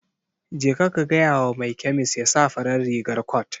Jeka ka gaya wa mai kemis ya sa farar rigar cot.